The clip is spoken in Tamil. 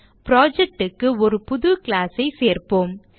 project க்கு ஒரு புது class ஐ சேர்ப்போம்